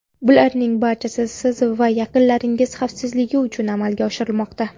Bularning barchasi siz va yaqinlaringiz xavfsizligi uchun amalga oshirilmoqda.